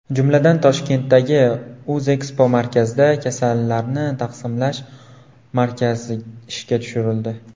Jumladan, Toshkentdagi O‘zekspomarkazda kasallarni taqsimlash markazi ishga tushirildi.